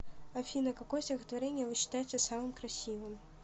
афина какое стихотворение вы считаете самым красивым